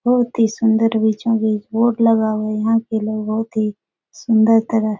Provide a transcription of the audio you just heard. बहुत ही सुन्दर बीचो-बीच बोर्ड लगा हुआ है यहाँ के लोग बहुत ही सुन्दर तरह --